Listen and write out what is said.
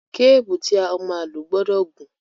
Kébùù tí a máa lò gbọdọ̀ gùn.